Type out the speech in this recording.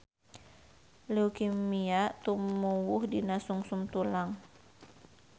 Leukemia tumuwuh dina sungsum tulang